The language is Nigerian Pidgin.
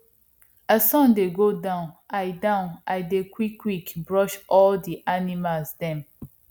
as sun dey go down i down i dey quickquick brush all di animals dem